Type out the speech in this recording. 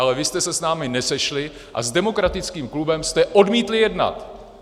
Ale vy jste se s námi nesešli a s Demokratickým blokem jste odmítli jednat.